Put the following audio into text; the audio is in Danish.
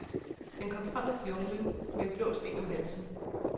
Den kom frem af junglen med en blå sten om halsen.